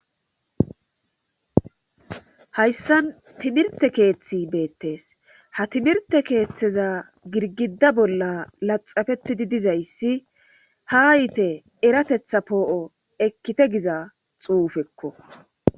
Hayssan timirte keeththi beettees ha timirte keeththeza girgida bolla laxafetidi dizayssi ha hayite eratetha poo'o ekkite giza xuufekko.